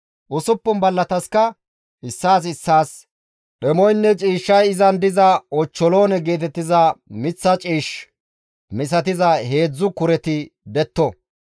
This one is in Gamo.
Usuppun ballataska issaas issaas dhemoynne ciishshay izan diza ochcholoone geetettiza miththa ciish misatiza heedzdzu kureti detto.